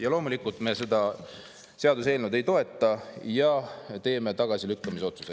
Ja loomulikult me seda seaduseelnõu ei toeta ja teeme tagasilükkamise otsuse.